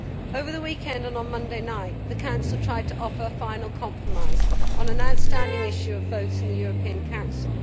Over the weekend and on Monday night, the Council tried to offer a final compromise on an outstanding issue of votes in the European Council.